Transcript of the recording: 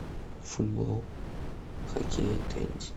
футбол хоккей теннис